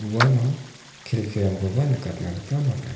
uano kelkirangkoba nikatna gita man·a.